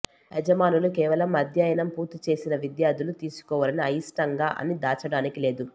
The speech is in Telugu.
యజమానులు కేవలం అధ్యయనం పూర్తి చేసిన విద్యార్థులు తీసుకోవాలని అయిష్టంగా అని దాచడానికి లేదు